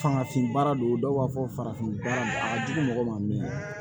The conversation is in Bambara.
Fangafin baara do dɔw b'a fɔ farafin baara a ka jugu mɔgɔ ma